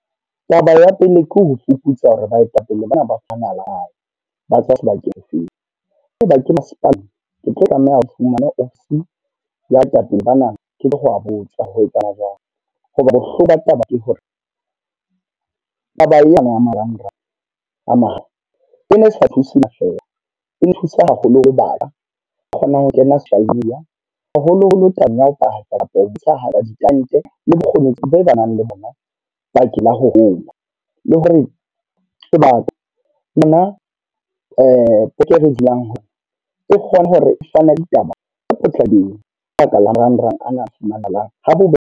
Taba ya pele, ke ho fuputsa hore baetapele bana ba ba tswa sebakeng se feng. Haeba ke masepaleng, ke tlo tlameha ho fumana office ya boetapele bana ke ho botsa ho etsahala jwang. Hoba bohloko ba taba ke hore, taba ena ya marangrang a e ne sa thuse feela. E nthusa haholo ho batjha ba kgonang ho kena social media. Haholo-holo tabeng ya ho paka kapa ho thusahala ditalente le bokgoni boo ba nang le bona bakeng la ho hola. Le hore batho bana e kgone hore e fana ditaba tse potlakileng ka baka la marangrang ana fumanahalang ha bobebe.